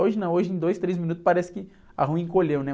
Hoje não, hoje em dois, três minutos, parece que a rua encolheu, né?